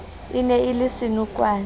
e ne e le senokwane